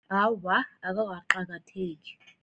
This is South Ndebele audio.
Awa, akukaqakatheki.